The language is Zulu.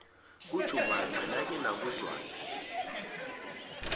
kajumaima nake nakuzwaphi